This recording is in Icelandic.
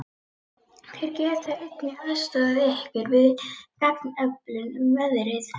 Þeir geta einnig aðstoðað yður við gagnaöflun um veðrið.